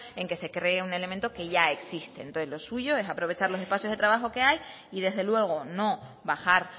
en que se cree un elemento que ya existe entonces lo suyo es aprovechar los espacios de trabajo que hay y desde luego no bajar